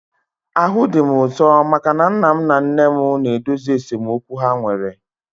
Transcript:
Ahụ dị m ụtọ maka na nna m na nne m na-edozi esemokwu ha nwere